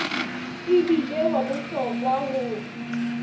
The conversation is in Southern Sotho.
e bile wa bohlokwa ho